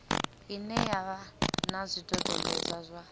ine ya vha na zwidodombedzwa